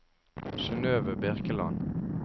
Synnøve Birkeland